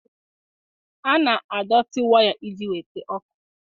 A na-adọtị waya iji weta ọkụ.